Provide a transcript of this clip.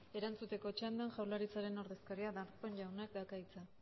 erantzuteko txandan jaurlaritzaren ordezkaria darpón jaunak dauka hitza